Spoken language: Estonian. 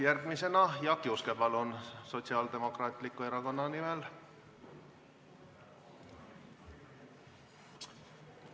Järgmisena palun siia Jaak Juske Sotsiaaldemokraatliku erakonna nimel!